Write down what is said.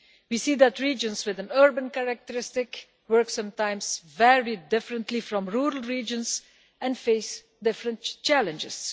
We see that regions with urban characteristics sometimes work very differently from rural regions and face different challenges.